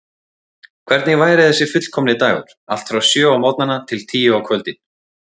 Hvernig væri þessi fullkomni dagur, allt frá sjö á morgnana til tíu á kvöldin?